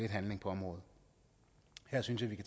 handling på området her synes jeg vi